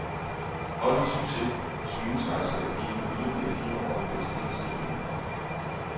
Holdets succes synes altså at give ham yderligere fire år i præsidentstolen.